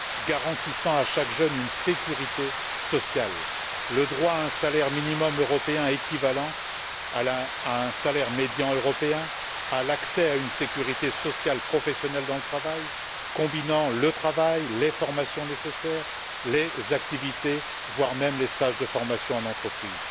garantissant à chaque jeune une sécurité sociale, le droit à un salaire minimum européen équivalant à un salaire médian européen, le droit à une sécurité sociale professionnelle dans le travail, combinant le travail, les formations nécessaires, les activités, voire les stages de formation en entreprise.